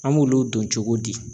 An b'olu dɔn cogo di